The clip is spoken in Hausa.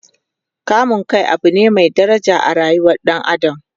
kamun Kai Abu ne Mai daraja a rayuwar ɗan adam